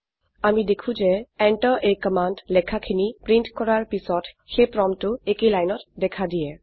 আমি দেখো যে enter a কামাণ্ড লেখাখিনি প্ৰীন্ট কৰাৰ পিছত সেই প্ৰম্পটটো একেই লাইনত দেখা দিয়ে